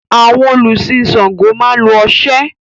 Àwọn olùsin Ṣàngó máa lo oṣé.